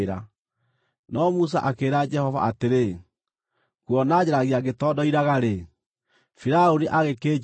No Musa akĩĩra Jehova atĩrĩ, “Kuona njaragia ngĩtondoiraga-rĩ, Firaũni angĩkĩnjigua nĩkĩ?”